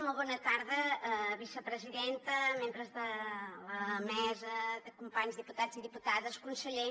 molt bona tarda vicepresidenta membres de la mesa companys diputats i diputades conseller